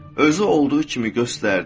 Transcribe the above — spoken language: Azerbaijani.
Özü olduğu kimi göstərdi.